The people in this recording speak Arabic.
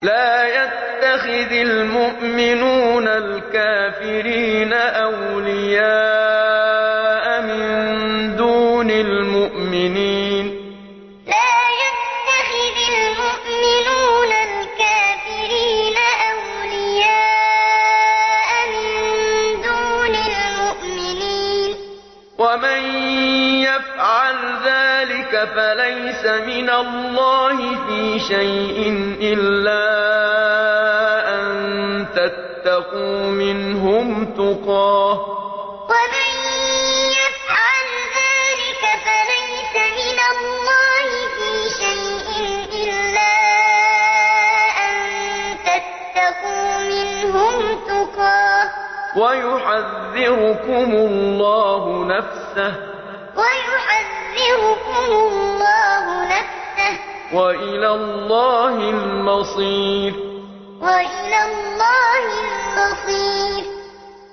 لَّا يَتَّخِذِ الْمُؤْمِنُونَ الْكَافِرِينَ أَوْلِيَاءَ مِن دُونِ الْمُؤْمِنِينَ ۖ وَمَن يَفْعَلْ ذَٰلِكَ فَلَيْسَ مِنَ اللَّهِ فِي شَيْءٍ إِلَّا أَن تَتَّقُوا مِنْهُمْ تُقَاةً ۗ وَيُحَذِّرُكُمُ اللَّهُ نَفْسَهُ ۗ وَإِلَى اللَّهِ الْمَصِيرُ لَّا يَتَّخِذِ الْمُؤْمِنُونَ الْكَافِرِينَ أَوْلِيَاءَ مِن دُونِ الْمُؤْمِنِينَ ۖ وَمَن يَفْعَلْ ذَٰلِكَ فَلَيْسَ مِنَ اللَّهِ فِي شَيْءٍ إِلَّا أَن تَتَّقُوا مِنْهُمْ تُقَاةً ۗ وَيُحَذِّرُكُمُ اللَّهُ نَفْسَهُ ۗ وَإِلَى اللَّهِ الْمَصِيرُ